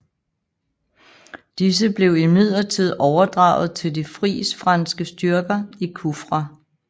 Disse blev imidlertid overdraget til de Fris franske styrker i Kufra